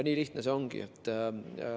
Nii lihtne see ongi.